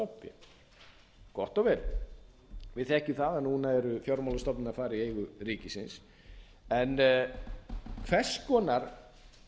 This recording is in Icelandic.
stofnfé gott og vel við þekkjum að að núna eru fjármálastofnanir að fara í eigu ríkisins en hvers konar